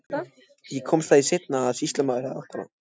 Ég komst að því seinna að sýslumaður átti hana.